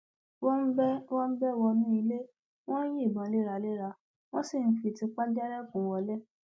wọn bẹ wọn bẹ wọnú ilé wọn ń yìnbọn léraléra wọn sì ń fi tìpá jálẹkùn wọlẹ